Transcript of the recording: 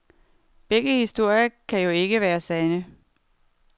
Begge historier kan jo ikke være sande.